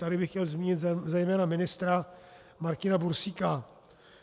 Tady bych chtěl zmínit zejména ministra Martina Bursíka,